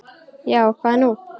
Já, hvað er nú?